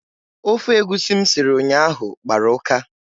Ofe egusi m siri ụnyaahụ gbara ụka.